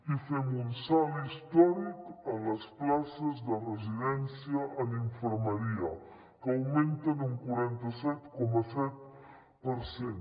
i fem un salt històric en les places de residència en infermeria que augmenten un quaranta set coma set per cent